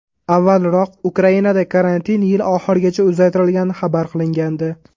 Avvalroq Ukrainada karantin yil oxirigacha uzaytirilgani xabar qilingandi .